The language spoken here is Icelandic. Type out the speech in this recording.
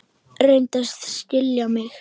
Reyndu að skilja mig.